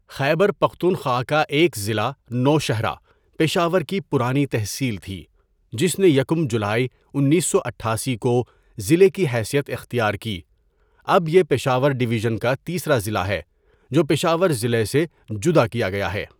خیبر پختونخوا کا ایک ضلع نوشہرہ پشاور کی پرانی تحصیل تھی جس نے یکم جولائی انیس سو اٹھاسی کو ضلع کی حیثیت اختیار کی اب یہ پشاورڈویژن کا تیسرا ضلع ہے جو پشاور ضلع سے جدا کیا گیا ہے.